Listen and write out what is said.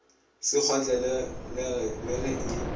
se kgotlelelege le ge e